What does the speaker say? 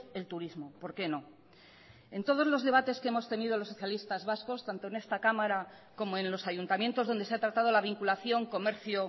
el turismo por qué no en todos los debates que hemos tenido los socialistas vascos tanto en esta cámara como en los ayuntamientos donde se ha tratado la vinculación comercio